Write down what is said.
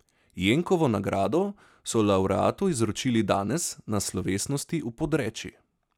Jenkovo nagrado so lavreatu izročili danes na slovesnosti v Podreči.